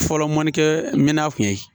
Fɔlɔ malikɛminɛn kun ye